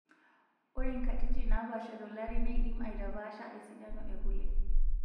Ore nkatitin naapasha tolari neidim aitapasha esidano ekule.